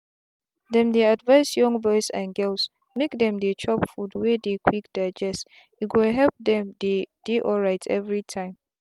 them dey advise young boys and girls make them dey chop food wey dey quick digeste go help dem dey dey alright every time.